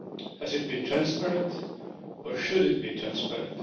Has it been transparent or should it be transparent?